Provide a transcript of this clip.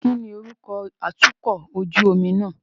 Kíni orúkọ atukọ̀ ojú omi náà?